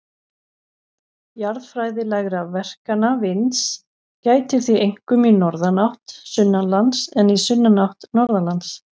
Jarðfræðilegra verkana vinds gætir því einkum í norðanátt sunnanlands en í sunnanátt norðanlands.